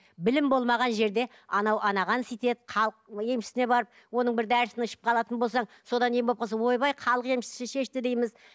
білім болмаған жерде анау анаған сөйтеді халық емшісіне барып оның бір дәрісін ішіп қалатын болсаң содан ем болып қалса ойбай халық емшісі шешті дейміз